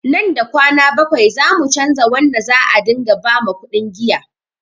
Nan da kwana bakwai zamu canza wanda za a ɗinga ba makuɗin giya